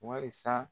Walisa